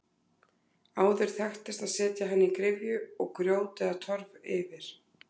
Áður þekktist að setja hana í gryfju og grjót eða torf yfir.